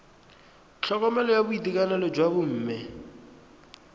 tlhokomelo ya boitekanelo jwa bomme